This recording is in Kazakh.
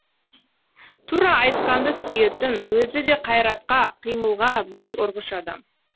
тура айтқанды сүйетін өзі де қайратқа қимылға бой ұрғыш адам